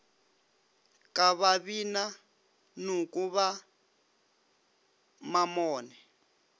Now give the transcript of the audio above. ka babina noko ba mamone